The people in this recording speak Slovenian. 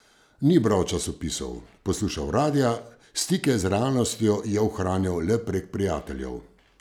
Ni bral časopisov, poslušal radia, stike z realnostjo je ohranjal le prek prijateljev.